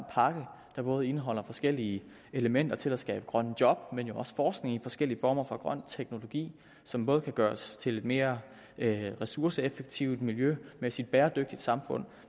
pakke der både indeholder forskellige elementer til at skabe grønne job men også forskning i forskellige former for grøn teknologi som både kan gøre os til et mere ressourceeffektivt miljømæssigt bæredygtigt samfund